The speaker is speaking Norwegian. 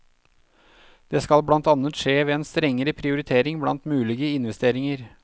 Det skal blant annet skje ved en strengere prioritering blant mulige investeringer.